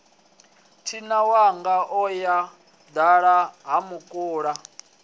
thinawanga o yo dala hamukula